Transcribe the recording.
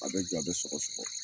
A bɛ joon an bɛ sɔgɔsɔgɔ.